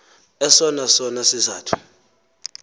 esona sona sizathu